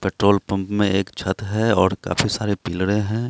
Petrol pump में एक छत है और काफी सारे पिलरे हैं।